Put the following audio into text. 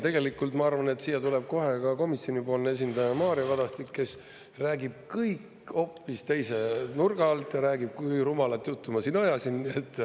Tegelikult, ma arvan, et siia tuleb kohe ka komisjonipoolne esindaja Mario Kadastik, kes räägib kõik hoopis teise nurga alt ja räägib, kui rumalat juttu ma siin ajasin.